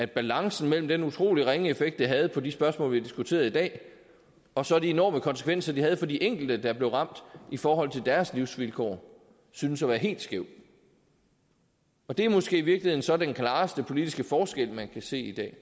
balancen mellem den utrolig ringe effekt det havde på de spørgsmål vi har diskuteret i dag og så de enorme konsekvenser det havde for de enkelte der blev ramt i forhold til deres livsvilkår syntes at være helt skæv det er måske i virkeligheden så den klareste politiske forskel man kan se i dag